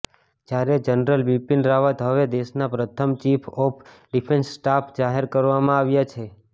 જ્યારે જનરલ બિપિન રાવત હવે દેશના પ્રથમ ચીફ ઓફ ડિફેન્સ સ્ટાફ જાહેર કરવામાં આવ્યા છે